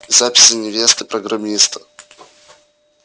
записи невесты программиста